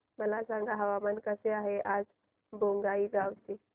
मला सांगा हवामान कसे आहे आज बोंगाईगांव चे